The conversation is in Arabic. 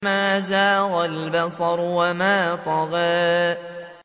مَا زَاغَ الْبَصَرُ وَمَا طَغَىٰ